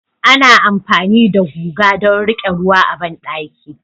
Ana amfani da guga don riƙe ruwa a bandaki